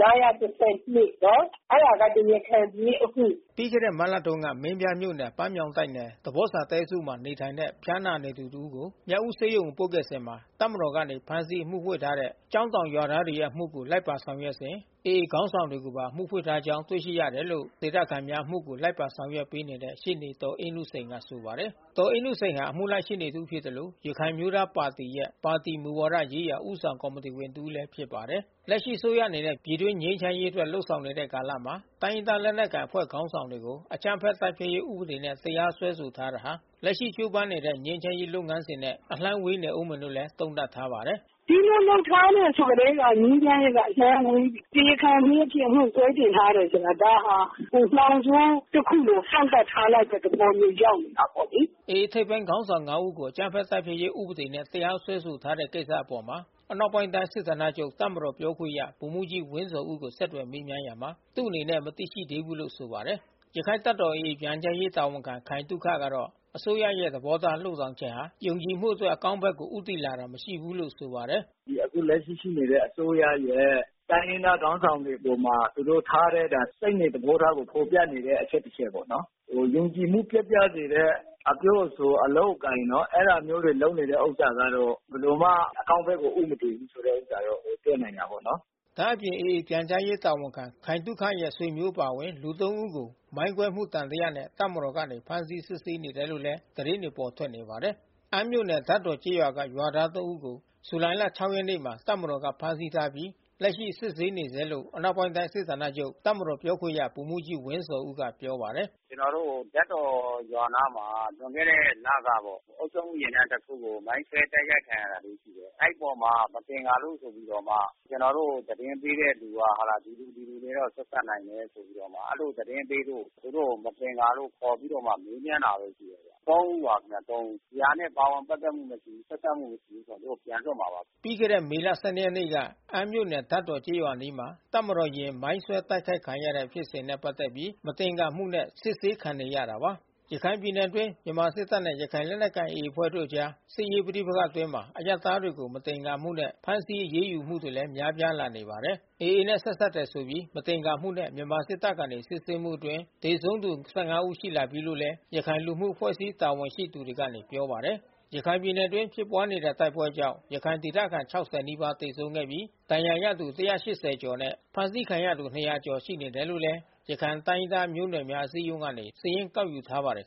၅၁၂ အဲဒါက တရားခံပြေး အမှု။” ပြီးခဲ့တဲ့ မတ်လတုန်းက မင်းပြားမြို့နယ်၊ ပန်းမြောင်းတိုက်နယ်၊ သပေါ့စာတဲစုမှာ နေထိုင်တဲ့ ဖျားနာသူတဦးကို မြောက်ဦး ဆေးရုံကို ပို့ဆောင်ခဲ့စဉ် တပ်မတော်ကနေ ဖမ်းဆီးအမှုဖွင့်ထားတဲ့ ကျောင်းတောင်ရွာသားတွေရဲ့အမှုကို လိုက်ပါဆောင်ရွက်စဉ် AA ခေါင်းဆောင်တွေကိုပါ အမှုဖွင့်ထားကြောင်း တွေ့ရှိရတယ်လို့ ကျောင်းတောင်ဒေသခံများ အမှုကို လိုက်ပါဆောင်ရွက်ပေးနေတဲ့ ရှေ့နေဒေါ်အေးနုစိန်က ဆိုပါတယ်။ ဒေါ်အေးနုစိန်ဟာ အမှုလိုက်ရှေ့နေ တဦး ဖြစ်သလို ရခိုင်အမျိုးသားပါတီရဲ့ပါတီ မူဝါဒရေးရာ ဦးဆောင်ကော်မတီဝင် တဦးလည်း ဖြစ်ပါတယ်။ လက်ရှိအစိုးရအနေနဲ့ ပြည်တွင်းငြိမ်းချမ်းရေးအတွက် လုပ်ဆောင်နေတဲ့ကာလမှာ တိုင်းရင်းသားလက်နက်ကိုင် အဖွဲ့ခေါင်းဆောင်တွေကို အကြမ်းဖက်တိုက်ဖျက်ရေး ဥပဒေနဲ့ တရားစွဲဆိုထားတာဟာ လက်ရှိကြိုးပမ်းနေတဲ့ ငြိမ်းချမ်း ရေးလုပ်ငန်းစဉ်နဲ့ အလှမ်းဝေးနေဦးမယ်လို့လည်း သုံးသပ်ထားပါတယ်။ “ဒီလိုလုပ်ထားတယ်ဆိုကတည်းက ငြိမ်းချမ်းရေးက အလှမ်းဝေး။ တရားခံပြေးအဖြစ်အမှု ဆွဲဆိုထားတယ်ဆိုတာ ဒါဟာ နှောင်ကြိုး တခု လို ကန့်သတ်ထားလိုက်တဲ့ သဘောမျိုး ရောက်နေတာပေါ့လေ။ AA ထိပ်ပိုင်းခေါင်းဆောင် ငါး ဦးကို အကြမ်းဖက်တိုက်ဖျက်ရေး ဥပဒေနဲ့ တရားစွဲဆိုထားတဲ့ ကိစ္စအပေါ် အနောက်ပိုင်းတိုင်း စစ်ဌာနချုပ် တပ်မတော်ပြောခွင့်ရ ဗိုလ်မှူးကြီးဝင်းဇော်ဦးကို ဆက်သွယ်မေးမြန်းရာမှာ သူ့အနေနဲ့ မသိရှိဘူးလို့ ဆိုပါတယ်။ ရခိုင်တပ်တော် AA ပြန်ကြားရေး တာဝန်ခံခိုင်သုခကတော့ အစိုးရရဲ့ သဘောထား လုပ်ဆောင်ချက်ဟာ ယုံကြည်မှုအတွက် အကောင်းဘက်ကို ဦးတည်တာမရှိဘူးလို့ ဆိုပါတယ်။ “အခုလက်ရှိရှိနေတဲ့ အစိုးရရဲ့ တိုင်းရင်းသားခေါင်းဆောင်တွေအပေါ်မှာ သူတို့ထားတဲ့ စိတ်နေသဘောထားကို ဖေါ်ပြနေတဲ့ အချက်တချက်ပေါ့နော်။ ယုံကြည်မှု ပျက်ပြားစေတဲ့ အပြောအဆို၊ အလုပ်အကိုင်နော် အဲတာမျိုးတွေ လုပ်နေတဲ့ဥစ္စာကတော့ ဘယ်လိုမှ အကောင်းဘက်ကို ဦးမတည်ဘူးဆိုတဲ့ ဥစ္စာတော့ မြင်တွေ့နိုင်တာပေါ့နော်။” ဒါ့အပြင် AA ပြန်ကြားရေးတာဝန်ခံ ခိုင်သုခရဲ့ ဆွေမျိုးအပါအဝင် လူ သုံး ဦးကို မိုင်းကွဲမှု သံသယနဲ့ တပ်မတော်ကနေ ဖမ်းဆီးစစ်ဆေးနေတယ်လို့လည်း သတင်းတွေ ပေါ်ထွက်နေတာပါ။ အမ်းမြို့နယ် ဓါတ်တော်ကျေးရွာက ရွာသား သုံး ဦးကို ဇူလိုင် ၆ ရက်နေ့မှာ တပ်မတော်က ဖမ်းဆီးထားပြီး လက်ရှိစစ်ဆေးနေဆဲလို့ အနောက်ပိုင်းတိုင်း စစ်ဌာနချုပ် တပ်မတော်ပြောခွင့်ရ ဗိုလ်မှူးကြီးဝင်းဇော်ဦးက ပြောပါတယ်။ “ကျနော်တို့ ဓါတ်တော်ရွာအနားမှာ လွန်ခဲ့တဲ့ လ ကပေါ့။ အုပ်ချုပ်မှုယာဉ်တန်း တခုကို မိုင်းခွဲ တိုက်ခိုက်ခံရတာလေး ရှိတယ်။ အဲဒီအပေါ်မှာ မသင်္ကာလို့ဆိုပြီးတော့မှ ကျနော်တို့ကို သတင်းပေးတဲ့ သူက ဒီလူ ဒီလူတွေနဲ့ ဆက်စပ်နိုင်တယ် ဆိုပြီးတော့မှ အဲဒီလို သတင်းပေးလို့ သူတို့ကို မသင်္ကာလို့ ခေါ်ပြီးတော့မှ မေးမြန်းတာပဲ ရှိတယ်ဗျ။ သုံး ဦးပါ..ခင်ဗျ သုံးဦး။ ဒီဟာနဲ့ ပါဝင်ပတ်သက်မှု မရှိဘူး၊ ဆက်စပ်မှု မရှိဘူးဆိုရင် သူတို့ကို ပြန်လွှတ်မှာပါ။" ပြီးခဲ့တဲ့မေလ၁၂ရက်နေ့က အမ်းမြို့နယ် ဓါတ်တော်ကျေးရွာအနီးမှာ တပ်မတော်ယာဉ် မိုင်းဆွဲတိုက်ခိုက်ခံတဲ့ဖြစ်စဉ်နဲ့ ပတ်သက်ပြီး မသင်္ကာမှုနဲ့ စစ်ဆေးခံနေရတာပါ။ ရခိုင်ပြည်နယ်အတွင်း မြန်မာစစ်တပ်နဲ့ ရခိုင်လက်နက်ကိုင် AA အဖွဲ့တို့အကြား စစ်ရေးပဋိပက္ခအတွင်း အရပ်သားတွေကို မသင်္ကာမှုနဲ့ ဖမ်းဆီးအရေးယူခံရမှုတွေ များပြားလာနေပါတယ်။ AA နဲ့ ဆက်စပ်တယ်ဆိုပြီး မသင်္ကာမှုနဲ့ မြန်မာစစ်တပ်က စစ်ဆေးမှုအတွင်း သေဆုံးသူ ၁၅ ဦး ရှိလာနေပြီးလို့လည်း ရခိုင်လူမှုအဖွဲ့အစည်း တာဝန်ရှိသူတွေကနေ ပြောပါတယ်။ ရခိုင်ပြည်နယ်အတွင်း ဖြစ်ပွားနေတဲ့ တိုက်ပွဲကြောင့် ရခိုင်ဒေသခံ ၆၀ ကျော် သေဆုံးခဲ့ပြီး၊ ဒဏ်ရာရသူ ၁၈၀ ကျော်နဲ့ ဖမ်းဆီးခံထားရသူ ၂၀၀ ကျော်ခန့် ရှိနေတယ်လို့ ရခိုင် တိုင်းရင်းသားမျိုးနွယ်များ အစည်းအရုံးကနေ စာရင်းကောက် ယူထားပါတယ်